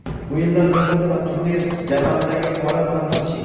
O‘yinlar ro‘yxati va turnir jadvalidagi holat bilan tanishing.